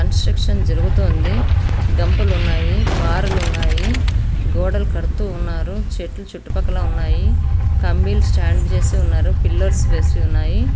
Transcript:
Construction జరుగుతుంది గంపలు ఉన్నాయి. పారాలు ఉన్నాయి గోడలు కడుతున్నారు. చెట్లు చుట్టుపక్కల ఉన్నాయి కుంబయిల్స్ స్టాండ్ చేసి ఉన్నారు. పిల్లర్స్ వేసి ఉన్నాయి.